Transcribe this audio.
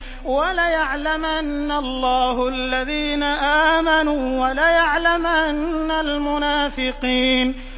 وَلَيَعْلَمَنَّ اللَّهُ الَّذِينَ آمَنُوا وَلَيَعْلَمَنَّ الْمُنَافِقِينَ